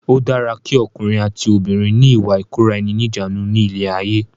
Ó dára ki ọkùnrin àti obìnrin ni ìwà ìkóra ẹni níjàánu ni ilé ayé.